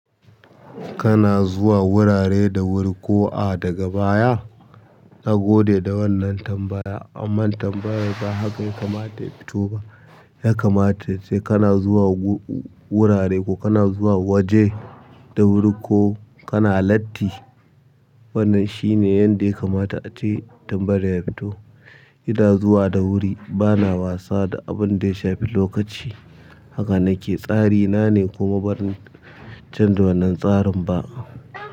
Kana zuwa wurare da wuri ko a daga baya? Na gode da wannan tambaya amma tambayan ba haka ya kamata ta fito ba. Ya kamata ace kana zuwa wurare ko kana zuwa waje da wuri ko kana latti. Wannan shine yanda ya kamata ace tambayar ya fito. Ina zuwa da wuri bana wasa da abun da ya shafi lokaci haka nake. Tsari na ne kuma ban canza wannan tsarin ba.